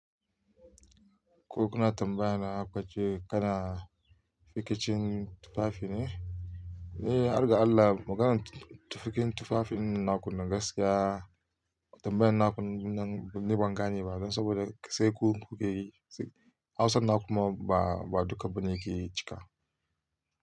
Ko kuna tambayana kukace kana rikicin tufafi ne? Eh, harga Allah maganar tufakin tufafin nan nakunnan gaskiya. Tambayan na kunne nan ni bangane gane ba don saboda sai ku kuke yi. Hausan na kuma ba duka bane ke cika.